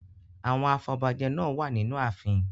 Àwọn afobajẹ náà wà nínú ààfin.